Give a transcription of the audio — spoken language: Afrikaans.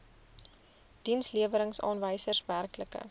dienslewerings aanwysers werklike